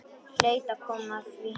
Hlaut að koma að því.